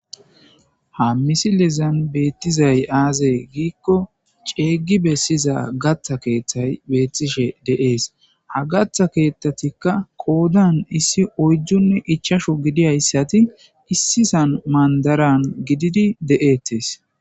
Ha misilezan beettizay aaze giikko ceeygi bessiza gatha keeththay beettishe de7ees. Ha gatha keeththatikka qoodan issi oyjjunne ichashu gidiayssati issisan mandaran gididi de7ettes.